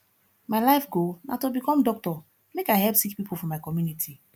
my life goal na to become doctor make i help sick pipo for my community